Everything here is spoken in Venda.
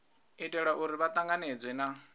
itela uri vha tanganedzwe na